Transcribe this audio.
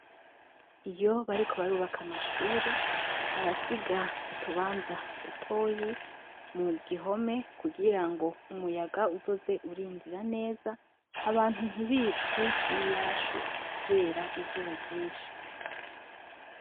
Iyo bariko barubaka amashure, barasiga urubanza dutoyi mugihome kugira umuyaga uzoze urinjira neza abantu ntibicwe niyashu kubera izuba ryinshi.